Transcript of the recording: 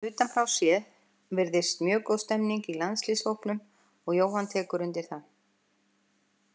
Utan frá séð virðist mjög góð stemning í landsliðshópnum og Jóhann tekur undir það.